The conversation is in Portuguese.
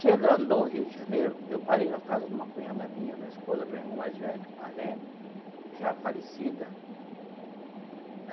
Chegando no Rio de Janeiro, eu parei na casa de uma cunhada minha, da esposa do meu irmão mais velho, Marlene, já falecida né.